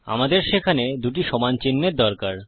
আমাদের সেখানে দুটি সমান চিন্হের দরকার